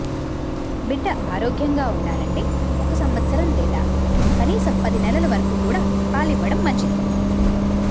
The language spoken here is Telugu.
బిడ్డ ఆరోగ్యంగా ఉండాలంటే ఒక సంవత్సరం లేదా కనీసం పది నెలల వరకు కూడా పాలివ్వడం మంచిది